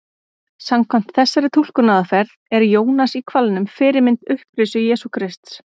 Samkvæmt þessari túlkunaraðferð er Jónas í hvalnum fyrirmynd upprisu Jesú Krists.